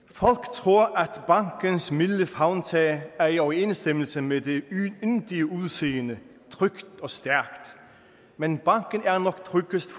tror at bankens milde favntag er i overensstemmelse med det yndige udseende trygt og stærkt men banken er nok tryggest